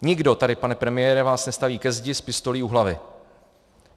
Nikdo tady, pane premiére, vás nestaví ke zdi s pistolí u hlavy.